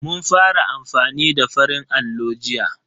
Mun fara amfani da farin allo jiya.